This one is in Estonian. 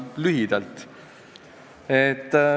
Ma teen lühidalt.